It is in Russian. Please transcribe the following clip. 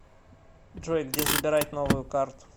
джой где забирать новую карту